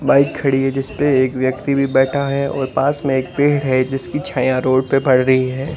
Bike खड़ी है जिस पे एक व्यक्ति भी बैठा है और पास में एक पेड़ है जिसकी छाया रोड पे पड़ रही है।